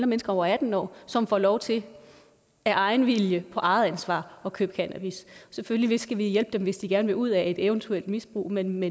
mennesker over atten år som får lov til af egen vilje på eget ansvar at købe cannabis selvfølgelig skal vi hjælpe dem hvis de gerne vil ud af et eventuelt misbrug men